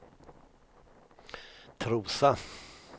Trosa